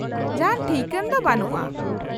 -ᱡᱟᱦᱟᱸᱱ ᱴᱷᱤᱠᱟᱹᱱ ᱫᱚ ᱵᱟᱱᱩᱜᱼᱟ ᱾